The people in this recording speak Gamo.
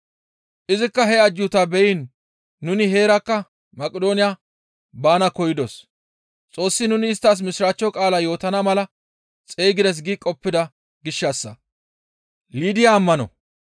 Izikka he ajjuutaa beyiin nuni heerakka Maqidooniya baana koyidos; Xoossi nuni isttas Mishiraachcho qaalaa yootana mala xeygides gi qoppida gishshassa.